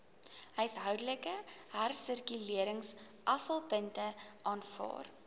huishoudelike hersirkuleringsaflaaipunte aanvaar